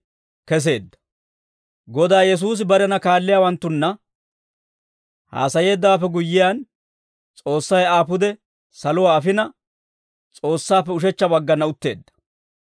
Godaa Yesuusi barena kaalliyaawanttunna haasayeeddawaappe guyyiyaan, S'oossay Aa pude saluwaa afina, S'oossaappe ushechcha baggana utteedda.